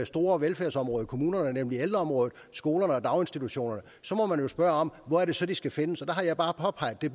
store velfærdsområder i kommunerne nemlig ældreområdet skolerne og daginstitutionerne så må man jo spørge hvor det så de skal findes og der har jeg bare påpeget at det